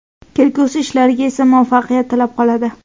kelgusi ishlariga esa muvaffaqiyat tilab qoladi!.